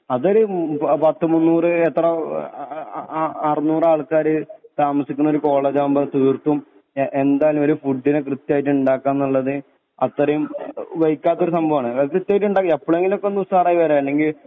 അതൊര് പത്ത് മുന്നൂറ് എത്ര അ അറുന്നൂറാൾക്കാര് താമസിക്ക്ണൊരു കോളേജാവുമ്പൊ തീർത്തും ഏ എന്തായാലും ഒരു ഫുഡിനെ കൃത്യായിട്ട് ഇണ്ടാക്കാന്ന്ള്ളത് അത്തറീം വയ്ക്കാത്തൊരു സംഭവാണ് അതായത് കൃത്യായിട്ട് ഇണ്ടാക്കി എപ്പളെങ്കിലൊക്കൊന്ന് ഒന്ന് ഉഷാറായി വരാ അല്ലെങ്കി